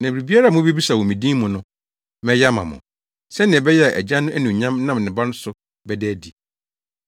Na biribiara a mubebisa wɔ me din mu no, mɛyɛ ama mo, sɛnea ɛbɛyɛ a Agya no anuonyam nam ne Ba no so bɛda adi.